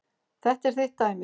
Þetta er þitt dæmi.